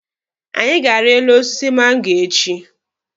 Anyị ga-ari elu osisi mango echi.